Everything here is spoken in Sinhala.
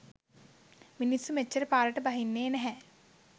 මිනිස්සු මෙච්චර පාරට බහින්නේ නැහැ.